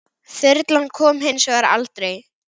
Þyrlan kom hins vegar aldrei.